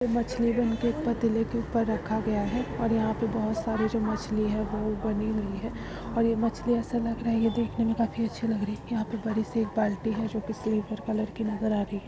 मछली बनके एक पतीले के ऊपर रखा गया है और यहाँ पे बहोत सारे जो मछली है वो बनी हुई है और ये मछली ऐसा लग रहा है ये देखने में काफी अच्छी लग रही यहाँ पे बड़ी सी एक बाल्टी है जो कि सिल्वर कलर की नज़र आ रही है ।